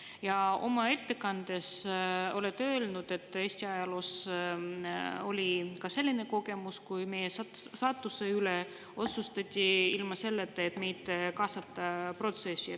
Ja oma ettekandes te ütlesite, et Eesti ajaloos on olnud ka selline kogemus: meie saatuse üle otsustati ilma, et meid oleks protsessi kaasatud.